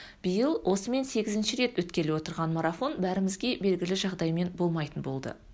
биыл осымен сегізінші рет өткелі отырған марафон бәрімізге белгілі жағдаймен болмайтын болды